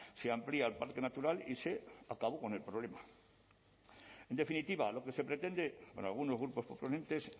se amplía al parque natural y se acabó con el problema en definitiva lo que se pretende por algunos grupos proponentes